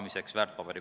Aitäh!